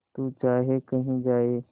तू चाहे कही जाए